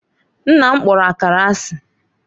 Nna m kpọrọ Akara asị